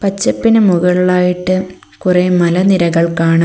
പച്ചപ്പിന് മുകളിലായിട്ട് കുറേ മലനിരകൾ കാണാം.